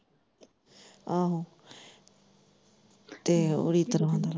ਆਹੋ ਤੇ ਓਦੀ ਤਲਾ।